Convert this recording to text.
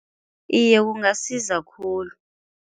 Iye kungasiza khulu.